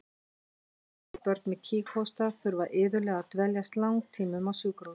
Lítil börn með kíghósta þurfa iðulega að dveljast langtímum á sjúkrahúsi.